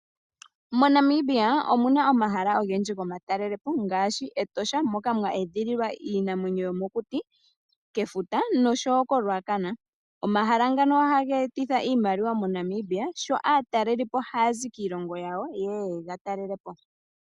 Mo Namibia omuna omahala ogendji gomatelelepo ngaashi Etosha moka mwa edhililwa iinamwenyo yomokuti, kefuta noshowo ko Ruacana. Omahala ngano ohage etitha iimaliwa mo Namibia sho aatalelipo hayazi kiilongo yawo yeye yegatalelepo.